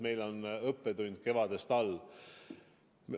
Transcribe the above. Meil on õppetund kevadest meeles.